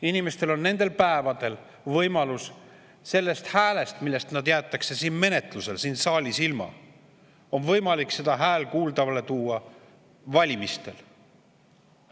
Inimestel on nendel päevadel, kui nad oma häälest sellel menetlusel siin saalis ilma jäävad, võimalus oma hääl kuuldavale tuua valimistel.